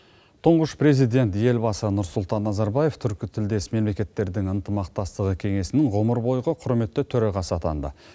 тұңғыш президент елбасы нұрсұлтан назарбаев түркі тілдес мемлекеттердің ынтымақтастығы кеңесінің ғұмыр бойғы құрметті төрағасы атанды